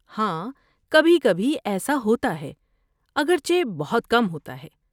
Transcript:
ہاں، کبھی کبھی ایسا ہوتا ہے، اگرچہ بہت کم ہوتا ہے۔